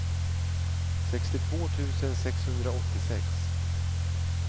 sextiotvå tusen sexhundraåttiosex